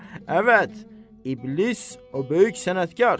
Əvət, İblis o böyük sənətkar!